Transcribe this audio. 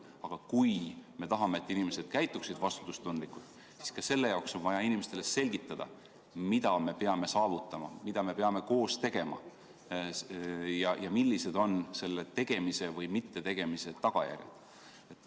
Aga kui me tahame, et inimesed käituksid vastutustundlikult, siis ka selle jaoks on vaja inimestele selgitada, mida me peame saavutama, mida me peame koos tegema ja millised on selle tegemise või mittetegemise tagajärjed.